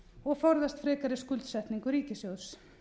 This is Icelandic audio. og forðast frekari skuldsetningu ríkissjóðs